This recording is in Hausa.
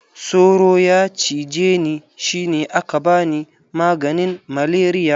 Soro ya cije ni shi ne aka bani maganin malaria.